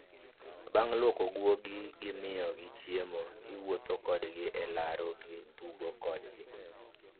Bang' luoko guogi gi miyo gi chiemo, iwuotho kodgi e laro gi tugo kodgi